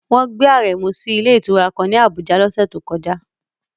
Wọ́n gbé Aremu sí ilé ìtura kan ní Abuja lọ́sẹ̀ tó kọjá